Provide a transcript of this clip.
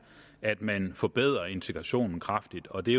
at man forbedrer integrationen kraftigt og det